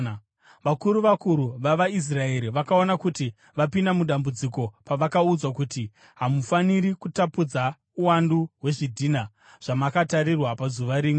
Vakuru vakuru vavaIsraeri vakaona kuti vapinda mudambudziko pavakaudzwa kuti, “Hamufaniri kutapudza uwandu hwezvidhina zvamakatarirwa pazuva rimwe.”